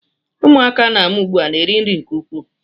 Ụmụaka a na-amụ ugbu a na-eri nri nke ukwuu